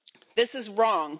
This is wrong.